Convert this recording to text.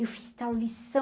Eu fiz tal lição.